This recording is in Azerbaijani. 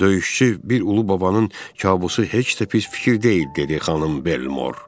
Döyüşçü bir ulu babanın kabusu heç də pis fikir deyil, dedi xanım Belmor.